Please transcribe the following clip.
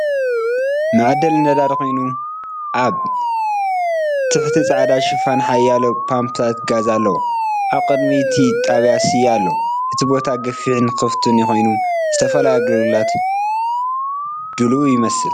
መዐደሊ ነዳዲ ኮይኑ፡- ኣብ ትሕቲ ጻዕዳ ሽፋን ሓያሎ ፓምፕታት ጋዝ ኣለዎ። ኣብ ቅድሚ እቲ ጣብያ ስየ ኣሎ። እቲ ቦታ ገፊሕን ክፉትን ኮይኑ፡ ንዝተፈላለዩ ኣገልግሎታት ድሉው ይመስል።